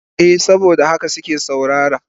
Eh saboda haka suke saurara.